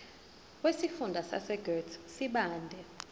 wesifunda sasegert sibande